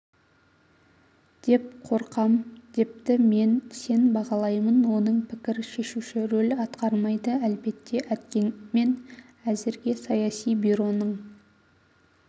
деп қорқам депті мен сен бағалаймын оның пікір шешуші рөл атқармайды әлбетте әйткенмен әзірге саяси бюроның